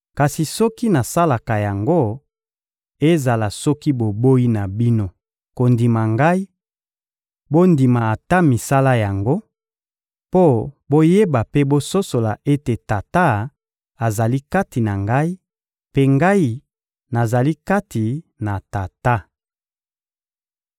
Kasi soki nasalaka yango, ezala soki boboyi na bino kondima Ngai, bondima ata misala yango, mpo boyeba mpe bososola ete Tata azali kati na Ngai, mpe Ngai nazali kati na Tata.